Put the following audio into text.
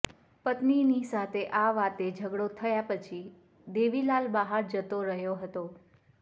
પત્નીની સાથે આ વાતે ઝઘડો થયા પછી દેવીલાલ બહાર જતો રહ્યો હતો